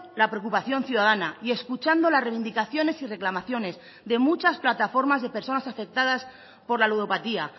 la preocupación ciudadana y escuchando las reivindicaciones y reclamaciones de muchas plataformas de personas afectadas por la ludopatía